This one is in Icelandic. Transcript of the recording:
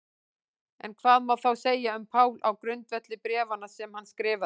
En hvað má þá segja um Pál á grundvelli bréfanna sem hann skrifaði?